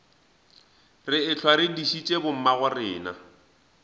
re ehlwa re dišitše bommagorena